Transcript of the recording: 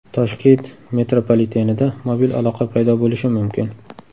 Toshkent metropolitenida mobil aloqa paydo bo‘lishi mumkin .